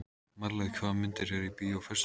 Marlaug, hvaða myndir eru í bíó á föstudaginn?